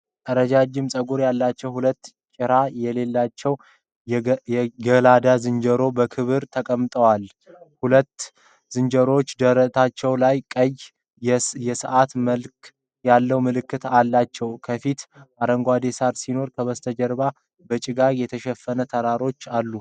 ረጃጅም ፀጉር ያላቸው ሁለት ጭራ የሌላቸው የገላዳ ዝንጀሮዎች በክብራቸው ተቀምጠዋል። ሁለቱም ዝንጀሮዎች ደረታቸው ላይ ቀይ የሰዓት መልክ ያለው ምልክት አላቸው። ከፊት አረንጓዴ ሳር ሲኖር፣ ከበስተጀርባ በጭጋግ የተሸፈኑ ተራሮች አሉ።